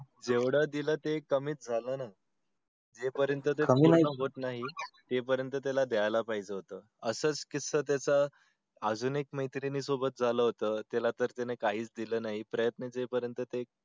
जेवढ दिल ते कमी च झालं ना जो पर्यंत ते पूर्ण होत नई तो पर्यंत द्याला पाहिजे होत असंच किस्सा त्याचा अजून एक मैत्रिणी सोबत झाला होता तिला त त्यानी काही च दिल नई प्रयत्न जो पर्यंत